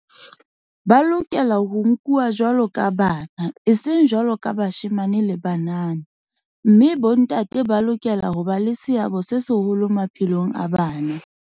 Ba lokela ho nkuwa jwaloka bana, eseng jwaloka bashemane le banana mme bontate ba lokela ho ba le seabo se seholo maphelong a bana.